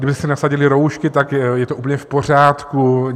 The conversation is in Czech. Kdyby si nasadili roušky, tak je to úplně v pořádku.